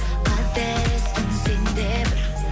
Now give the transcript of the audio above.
қателестің сен де бір